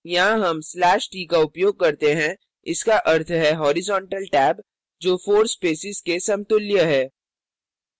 यहाँ हम slash t का उपयोग करते हैं इसका अर्थ है horizontal टैब जो 4 spaces के समतुल्य है